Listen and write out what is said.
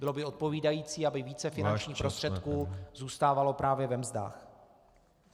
Bylo by odpovídající , aby více finančních prostředků zůstávalo právě ve mzdách.